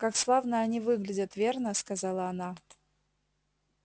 как славно они выглядят верно сказала она